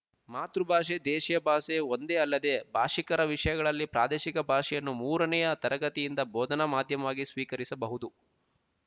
ಮಾತೃಭಾಷೆ ದೇಶಿಯಭಾಷೆ ಒಂದೇ ಅಲ್ಲದ ಭಾಶಿಕರ ವಿಷಯಗಳಲ್ಲಿ ಪ್ರಾದೇಶಿಕ ಭಾಷೆಯನ್ನು ಮೂರನೆಯ ತರಗತಿಯಿಂದ ಬೋಧನಾ ಮಾಧ್ಯಮವಾಗಿ ಸ್ವೀಕರಿಸಬಹುದು